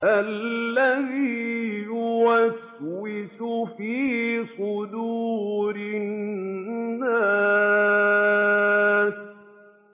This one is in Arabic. الَّذِي يُوَسْوِسُ فِي صُدُورِ النَّاسِ